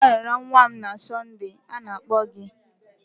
Agam arara nwa m na Sonde, a na-akpọ gị.